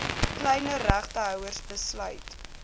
kleiner regtehouers besluit